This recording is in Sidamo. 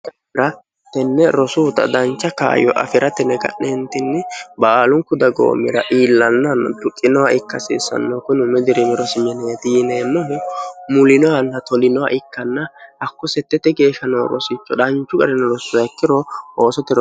rahatenne rosuuta dancha kaayyo afi'ra tine ga'neentinni baalunku dagoo mira iillannann duqinoha ikkasiissanno kunu mi dirimirosmneeti yiineemmohu mulinohanna tolinoha ikkanna hakku settette geeshsha noo rosicho dhanchu ga'rini rossuhakkiro oosote ro